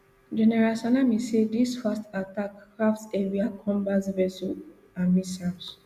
general salami say dis fast attack craft heavier combat vessels and missiles